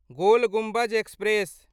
गोल Gumbaz express